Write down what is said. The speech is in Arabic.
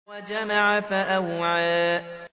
وَجَمَعَ فَأَوْعَىٰ